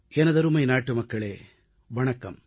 எனதருமை நாட்டுமக்களே வணக்கம்